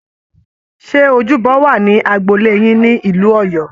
Ṣé ojúbọ wà ní agbolé yín ní ìlú Ọ̀yọ́